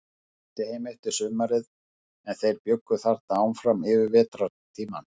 Ég flutti heim eftir sumarið, en þeir bjuggu þarna áfram yfir vetrartímann.